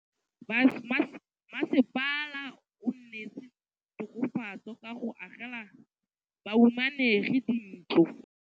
Mmasepala o neetse tokafatsô ka go agela bahumanegi dintlo.